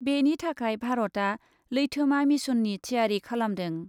बेनि थाखाय भारतआ लैथोमा मिशननि थियारि खालामदों ।